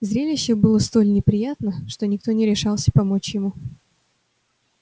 зрелище было столь неприятно что никто не решался помочь ему